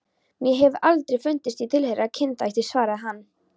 Mér hefur aldrei fundist ég tilheyra kynþætti, svaraði hann.